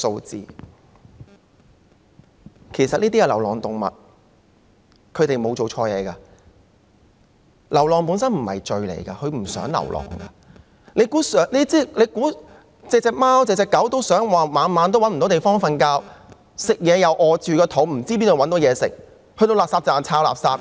這些是流浪動物，牠們沒有做錯事，流浪本身不是罪，牠們也不想流浪，難道每隻貓狗也想每晚無處棲息、要餓着肚子，又不知道哪裏有食物，要到垃圾站翻垃圾嗎？